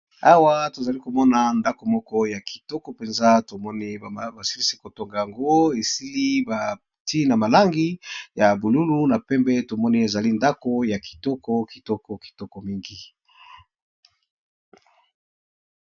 Awa tozali komona ndako moko ya kitoko mpenza tomoni bama ba silisi kotonga yango, esili ba nti na ba langi ya bululu na pembe tomoni ezali ndako ya kitoko kitoko kitoko mingi.